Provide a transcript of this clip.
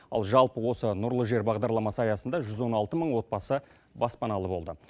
ал жалпы осы нұрлы жер бағдарламасы аясында жүз он алты мың отбасы баспаналы болды